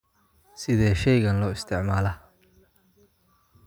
Sidee shaygan loo isticmaalaa?